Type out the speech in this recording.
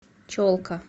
челка